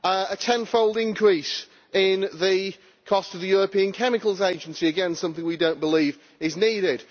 A tenfold increase in the cost of the European Chemicals Agency again, something we do not believe is needed.